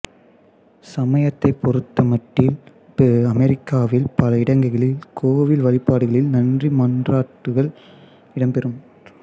சமயத்தைப் பொறுத்தமட்டில் அமெரிக்காவில் பல இடங்களில் கோவில் வழிபாடுகளில் நன்றி மன்றாட்டுகள் இடம்பெறும்